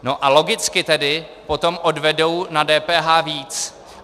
A logicky tedy potom odvedou na DPH víc.